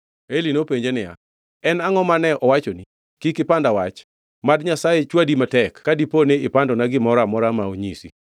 Eli nopenje niya, “En angʼo mane owachoni? Kik ipanda wach. Mad Nyasaye chwadi matek ka dipo ni ipandona gimoro amora ma onyisi.”